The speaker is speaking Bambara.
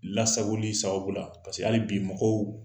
Lasagoli sababu la hali bi mɔgɔw